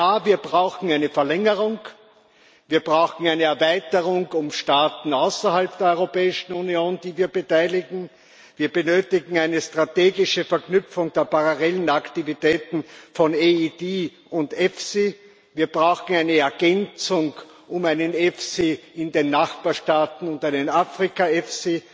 Ja, wir brauchen eine Verlängerung, wir brauchen eine Erweiterung um Staaten außerhalb der Europäischen Union, die wir beteiligen, wir benötigen eine strategische Verknüpfung der parallelen Aktivitäten von EIT und EFSI, wir brauchen eine Ergänzung um einen EFSI in den Nachbarstaaten und einen Afrika EFSI,